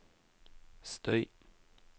støy